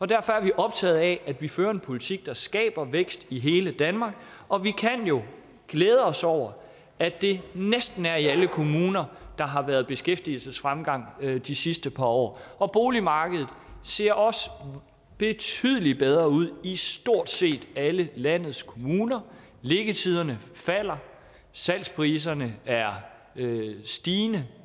derfor er vi optaget af at vi fører en politik der skaber vækst i hele danmark og vi kan jo glæde os over at det næsten er i alle kommuner der har været beskæftigelsesfremgang de sidste par år og boligmarkedet ser også betydelig bedre ud i stort set alle landets kommuner liggetiderne falder og salgspriserne er stigende